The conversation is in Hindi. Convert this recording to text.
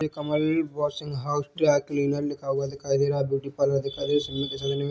ये Kamal washing house dry cleaners लिखा हुआ दिखाई दे रहा है ब्यूटी पार्लर दिखाई दे रहा है।